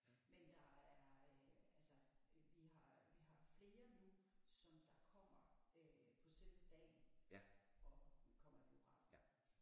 Men der er øh altså vi har flere nu som der kommer øh på selve dagen og kommer i biografen